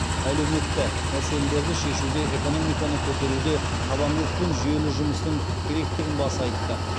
әлеуметті мәселелерді шешуде экономиканы көтеруде табандылық пен жүйелі жұмыстың керектігін баса айтты